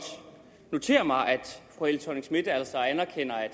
notere mig at fru helle thorning schmidt altså anerkender at